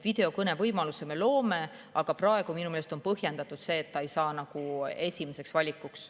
Videokõnevõimaluse me loome, aga praegu on minu meelest põhjendatud see, et see ei saa nagu esimeseks valikuks.